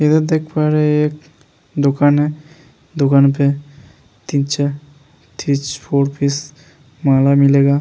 इधर दिख पा रहे हैं एक दुकान हैं। दुकान पे माला मिलेगा।